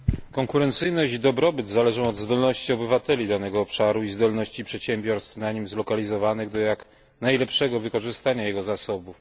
Konkurencyjność i dobrobyt zależą od zdolności obywateli danego obszaru i zdolności przedsiębiorstw na nim zlokalizowanych do jak najlepszego wykorzystania jego zasobów.